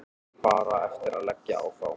Bara eftir að leggja á þá.